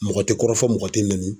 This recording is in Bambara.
Mɔgɔ tɛ kɔrɔfɔ mɔgɔ tɛ n'i nɛni.